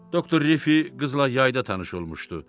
Doktor Rifi qızla yayda tanış olmuşdu.